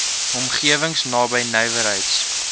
omgewings naby nywerheids